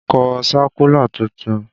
Kọ sákúlà tuntun!